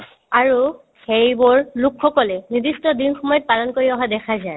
আৰু সেইবোৰ লোকসকলে নিৰ্দিষ্ট দিন সমূহত পালন কৰি অহা দেখা যায়